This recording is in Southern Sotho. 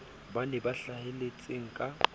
ba bane ba hlahelletseng ka